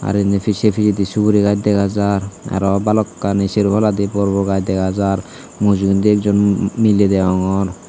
aro endi sey pissedi suguri gaj dega jar aro balokkani sero palladi bor bor gaj dega jar mujugendi ekjon um miley degongor.